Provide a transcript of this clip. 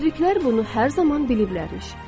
Müdriklər bunu hər zaman biliblər imiş.